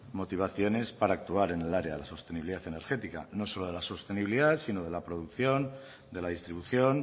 motivación para actuar en el área de la sostenibilidad energética no solo de la sostenibilidad sino de la producción de la distribución